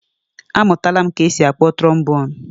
A mụtara ka-esi akpọ trobonu